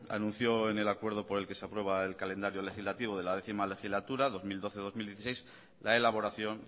anunció en el acuerdo por el que se aprueba el calendario legislativo de la décimo legislatura dos mil doce dos mil dieciséis la elaboración